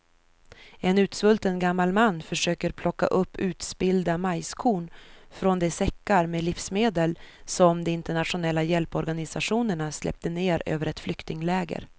En utsvulten gammal man försöker plocka upp utspillda majskorn från de säckar med livsmedel som de internationella hjälporganisationerna släppt ner över ett flyktingläger.